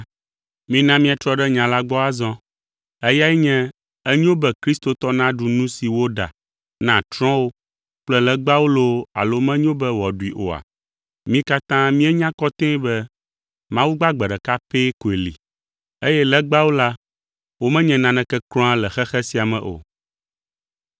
Mina míatrɔ ɖe nya la gbɔ azɔ. Eyae nye, enyo be kristotɔ naɖu nu si woɖa na trɔ̃wo kple legbawo loo alo menyo be wòaɖui oa? Mí katã míenya kɔtɛe be, “Mawu gbagbe ɖeka pɛ koe li” eye “Legbawo la, womenye naneke kura le xexe sia me o.”